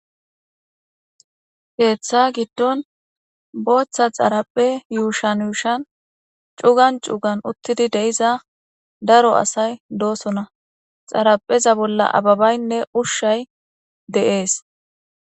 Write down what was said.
Keththa giddon boththa xarape yushuwan yushuwan cugani cuggani utidi diza daro asayi dosona.xarapeza bolla ababayine ushayi dees